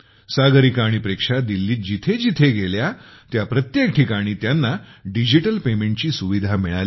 सागरिका आणि प्रेक्षा दिल्लीत जिथे जिथे गेल्या त्या प्रत्येक ठिकाणी त्यांना डिजिटल पेमेंटची सुविधा मिळाली